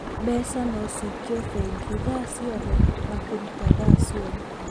Mbeca no cikio bengi thaa ciothe na kũruta thaa ciothe